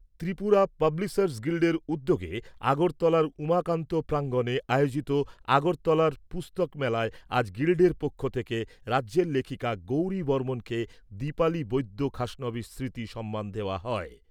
Tripura publishers গিল্ডের উদ্যোগে আগরতলার উমাকান্ত প্রাঙ্গনে আয়োজিত আগরতলা পুস্তক মেলায় আজ গিল্ডের পক্ষ থেকে রাজ্যের লেখিকা গৌরী বর্মণকে দিপালী বৈদ্য খাসনবিশ স্মৃতি সম্মান দেওয়া হয়।